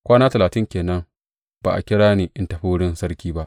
Kwana talatin ke nan ba a kira ni in tafi wurin sarki ba.